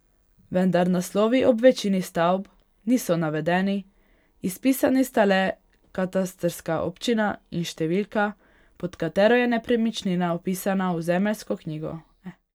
Vendar naslovi ob večini stavb niso navedeni, izpisani sta le katastrska občina in številka, pod katero je nepremičnina vpisana v zemljiško knjigo.